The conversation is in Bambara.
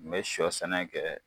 N bɛ sɔ sɛnɛ kɛ